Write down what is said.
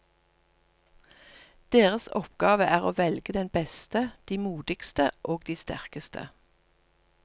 Deres oppgave er å velge de beste, de modigste, og de sterkeste.